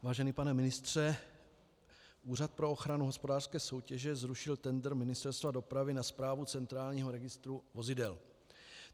Vážený pane ministře, Úřad pro ochranu hospodářské soutěže zrušil tendr Ministerstva dopravy na správu centrálního registru vozidel.